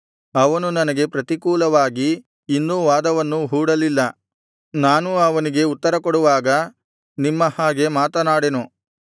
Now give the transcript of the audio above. ಅವನು ನನಗೆ ಪ್ರತಿಕೂಲವಾಗಿ ಇನ್ನೂ ವಾದವನ್ನು ಹೂಡಲಿಲ್ಲ ನಾನೂ ಅವನಿಗೆ ಉತ್ತರಕೊಡುವಾಗ ನಿಮ್ಮ ಹಾಗೆ ಮಾತನಾಡೆನು